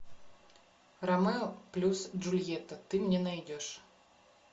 ромео плюс джульетта ты мне найдешь